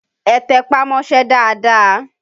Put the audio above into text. Ẹ tẹpá mọ́ṣẹ́ dáadáa!